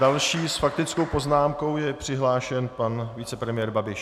Další s faktickou poznámkou je přihlášen pan vicepremiér Babiš.